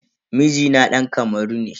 Mijina dan Kamaru ne.